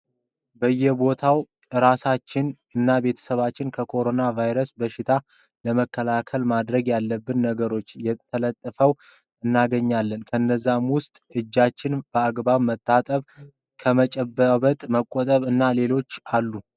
በየቦታው እራሳችን እናቤተሰባችንን ከኮሮና ባይረስ በሽታ ለመከላከል ማድረግ ያለብን ነገሮች ተለጥፈዉ እናገኛለን። ከነዛም ዉስጥ እጃችን በአግባቡ መታጠብ ፣ከመጨባበጥ መቆጠብ እና ሌሎችም አሉ ።